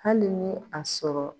Hali ni a sɔrɔ